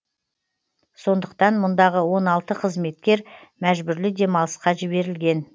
сондықтан мұндағы он алты қызметкер мәжбүрлі демалысқа жіберілген